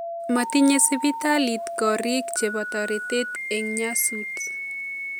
Matinye sibitaliit koriik chebo toretet eng nyasut